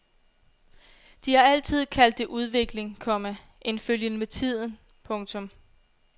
De har altid kaldt det udvikling, komma en følgen med tiden. punktum